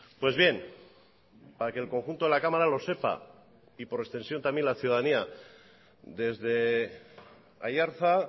pues bien para que el conjunto de la cámara lo sepa y por extensión también la ciudadanía desde aiartza